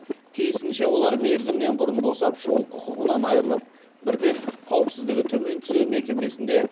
тиісінше олар мерзімінен бұрын босап шығу құқығынан айырылып бірден қауіпсіздігі төмен түзеу мекемесінде